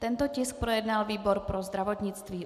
Tento tisk projednal výbor pro zdravotnictví.